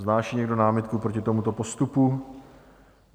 Vznáší někdo námitku proti tomuto postupu?